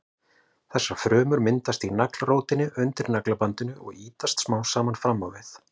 Þessar frumur myndast í naglrótinni undir naglabandinu og ýtast smám saman fram á við.